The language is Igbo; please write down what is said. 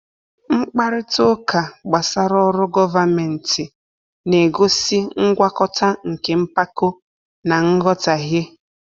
Mkparịta ụka gbasara ọrụ gọvanmentị na-egosi ngwakọta nke mpako na nghọtahie.